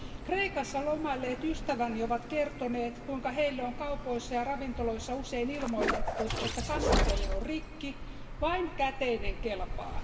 Kreikassa lomailleet ystäväni ovat kertoneet, kuinka heille on kaupoissa ja ravintoloissa usein ilmoitettu, että kassakone on rikki ja vain käteinen kelpaa.